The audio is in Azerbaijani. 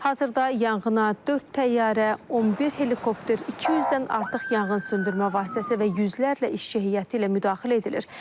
Hazırda yanğına dörd təyyarə, 11 helikopter, 200-dən artıq yanğın söndürmə vasitəsi və yüzlərlə işçi heyəti ilə müdaxilə edilir.